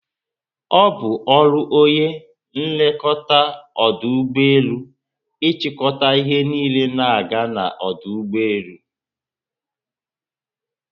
Obu ọrụ onye nlekọta ọdụ ụgbọelu ichiko ihe niile na aga na ọdụ ugbọelu